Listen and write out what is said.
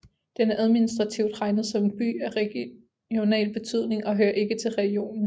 Den er administrativt regnet som en By af regional betydning og hører ikke til rajonen